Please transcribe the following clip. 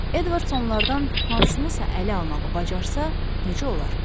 Edvards onlardan hansınısa ələ almağı bacarsa, necə olar?